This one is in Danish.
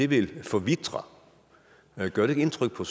vil forvitre gør det ikke indtryk på